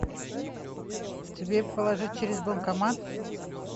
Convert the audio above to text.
тебе положить через банкомат